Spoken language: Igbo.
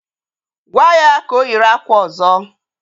Gwaa ya ka o yiri akwa ọzọ!